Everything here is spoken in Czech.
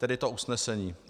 Tedy to usnesení.